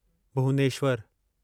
भुवनेश्वरु